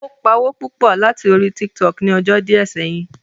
Ó pawó púpọ̀ láti púpọ̀ láti orí Tiktok ni ọjọ́ díẹ̀ sẹ́yìn